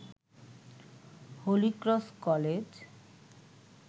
Holy Cross college